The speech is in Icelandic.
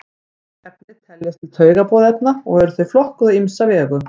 mörg efni teljast til taugaboðefna og eru þau flokkuð á ýmsa vegu